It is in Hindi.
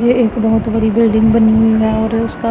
ये एक बहुत बड़ी बिल्डिंग बनी हुई है और उसका